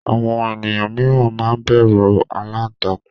àwọn eniyan miran ma n bẹru àlàntakùn